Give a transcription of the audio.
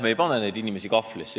Me ei pane neid inimesi kahvlisse.